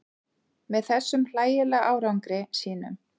Með þessum hlægilega árangri sínum.